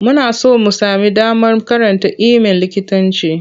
Muna son mu sami damar karanta iimin likitanci.